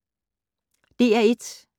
DR1